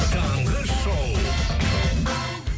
таңғы шоу